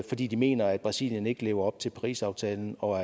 fordi de mener at brasilien ikke lever op til parisaftalen og